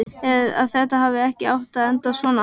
Að þetta hafi ekki átt að enda svona.